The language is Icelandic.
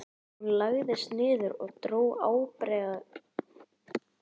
Hún lagðist niður og dró ábreiðuna upp undir höku.